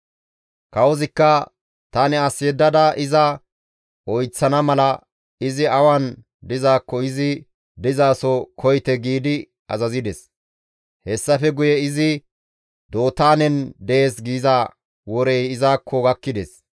Kawozikka, «Tani as yeddada iza oyththana mala izi awan dizaakko izi dizaso koyite» giidi azazides. Hessafe guye, «Izi Dootaanen dees» giza worey izakko gakkides.